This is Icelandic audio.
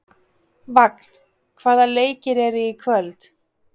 Vagn, hvaða leikir eru í kvöld?